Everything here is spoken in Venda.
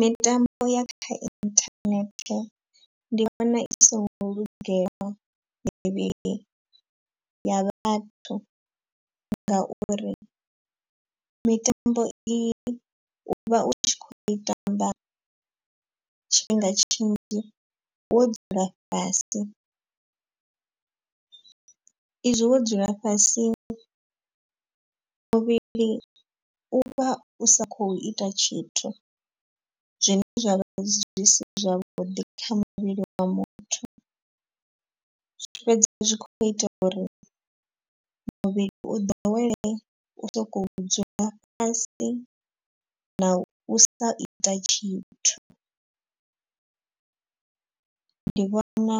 Mitambo ya kha internet ndi vhona i singo lugela mivhili ya vhathu. Ngauri mitambo i i u vha u tshi kho i tamba tshifhinga tshinzhi wo dzula fhasi. I zwi wo dzula fhasi muvhili u vha u sa khou ita tshithu zwine zwa vha zwi si zwavhuḓi kha muvhili wa muthu. Zwi fhedza zwi kho ita uri muvhili u ḓowele u sokou dzula fhasi na u sa ita tshithu. Ndi vhona